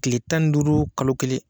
Kile tan ni duuru, kalo kelen